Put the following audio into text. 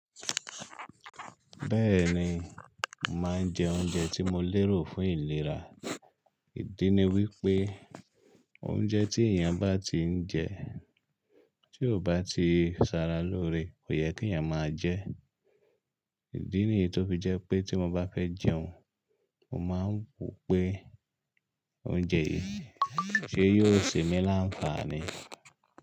Bẹ́ẹ̀ni, mò màá n jẹ oúnjẹ tí mo lérò fún ìlera. Ìdí ni wípé oúnjẹ tí èèyàn bá ti ń jẹ tí kò bá ti saara lóore kò yẹ kí ẹ̀yàn máa jẹ. Ìdí nìyí tó fi jẹ́ pé tí mo bá fẹ́ jẹun, màá ń wò pé oúnjẹ yìí ṣe yóò ṣe mi láǹfààní.